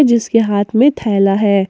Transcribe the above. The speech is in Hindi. इसके हाथ में थैला है।